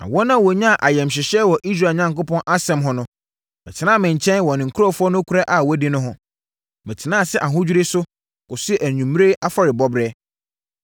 Na wɔn a wɔnyaa ayamhyehyeɛ wɔ Israel Onyankopɔn asɛm ho no bɛtenaa me nkyɛn wɔ ne nkurɔfoɔ nokorɛ a wɔanni no ho. Metenaa ase ahodwirie so, kɔsii anwummerɛ afɔrebɔberɛ.